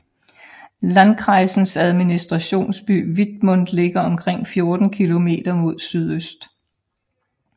Landkreisens administrationsby Wittmund ligger omkring 14 kilometer mod sydøst